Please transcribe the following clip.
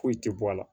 Foyi tɛ bɔ a la